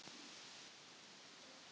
Það er ekkert líf án þín, mamma mín.